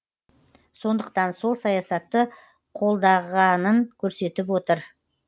сондықтан сол саясатты қолдағанын көрсетіп отыр